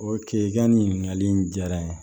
O ke i ka nin ɲininkali in diyara n ye